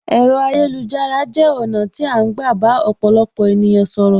Ẹ̀rọ ayélujára jẹ ọ̀nà tí a ń gbà bá ọ̀pọ̀lọpọ̀ ènìyàn sọ̀rọ̀.